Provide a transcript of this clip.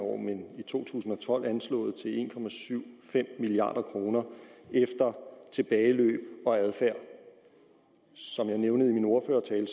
år men i to tusind og tolv anslået til en milliard kroner efter tilbageløb og adfærd som jeg nævnte i min ordførertale